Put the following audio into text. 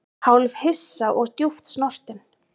Hálfhissa og djúpt snortinn